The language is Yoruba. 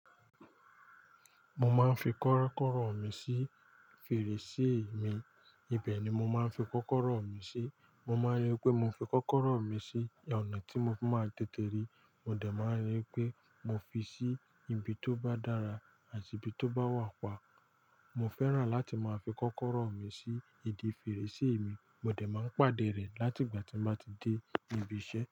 Mo máa ń fi kọ́kọ́rọ́ mi sí fèrèsé mi, ibẹ̀ ni mo máa ń fi kọ́kọ́rọ́ mi sí. Mo máa ń ri wípé mo fi kọ́kọ́rọ́ mi sí ọ̀nà tí mo fi máa tètè ríi, mo dẹ̀ máa ń ríi pé mo fi sí ibi tó bá dára àti ibi tó bá wà pa. Mo fẹ́ràn láti máa fi kọ́kọ́rọ́ mi sí ìdí fèrèsé mi, mo dà máa ń pàdé rẹ̀ láti ìgbà tí mo bá ti dé ibi iṣẹ́.